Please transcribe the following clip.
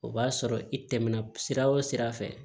O b'a sɔrɔ i tɛmɛna sira o sira fɛ